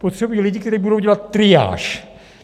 Potřebují lidi, kteří budou dělat triáž.